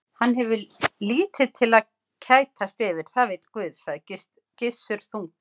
Hann hefur lítið til að kætast yfir, það veit Guð, sagði Gissur þungbúinn.